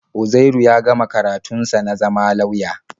Uzairu ya gama karatun sa na zama lauya.